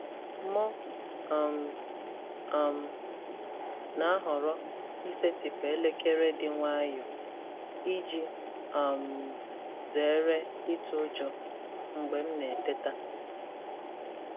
M um um na-ahọrọ isetịpụ elekere dị nwayọọ iji um zere ịtụ ụjọ mgbe m na-eteta.